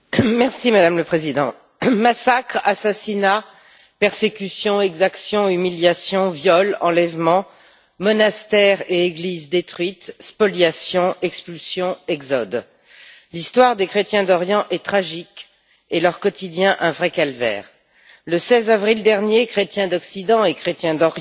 Madame la Présidente, massacres, assassinats, persécutions, exactions, humiliations, viols, enlèvements, monastères et églises détruites, spoliations, expulsions, exode L'histoire des chrétiens d'Orient est tragique et leur quotidien un vrai calvaire. Le 16 avril dernier, chrétiens d'Occident et chrétiens d'Orient